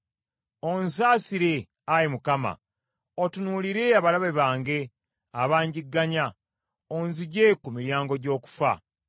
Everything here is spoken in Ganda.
Onsaasire, Ayi Mukama ; otunuulire abalabe bange abangigganya, onzigye ku miryango gy’okufa.